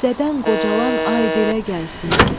Qüssədən qocalan ay dilə gəlsin.